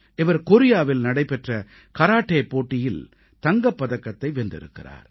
இவர் கோரியாவில் நடைபெற்ற கராட்டே போட்டியில் தங்கப் பதக்கத்தை வென்றிருக்கிறார்